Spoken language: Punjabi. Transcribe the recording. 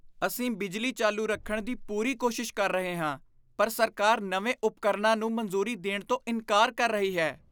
ਅਸੀਂ ਬਿਜਲੀ ਚਾਲੂ ਰੱਖਣ ਦੀ ਪੂਰੀ ਕੋਸ਼ਿਸ਼ ਕਰ ਰਹੇ ਹਾਂ ਪਰ ਸਰਕਾਰ ਨਵੇਂ ਉਪਕਰਣਾਂ ਨੂੰ ਮਨਜ਼ੂਰੀ ਦੇਣ ਤੋਂ ਇਨਕਾਰ ਕਰ ਰਹੀ ਹੈ।